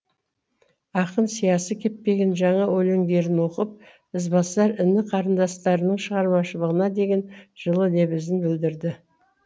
ақын сиясы кеппеген жаңа өлеңдерін оқып ізбасар іні қарындастарының шығармашылығына деген жылы лебізін білдірді